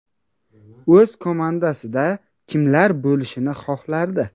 O‘z komandasida kimlar bo‘lishini xohlardi?